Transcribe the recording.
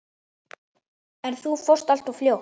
En þú fórst alltof fljótt.